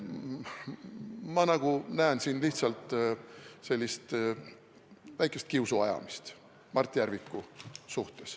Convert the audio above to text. Ma näen siin lihtsalt sellist väikest kiusuajamist Mart Järviku suhtes.